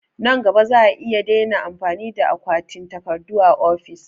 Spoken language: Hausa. Nan gaba za'a iya daina amfani da akwatin takardu a ofis